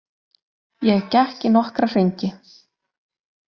Ég gekk í nokkra hringi.